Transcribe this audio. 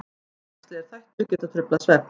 Félagslegir þættir geta truflað svefn.